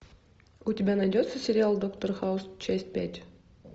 у тебя найдется сериал доктор хаус часть пять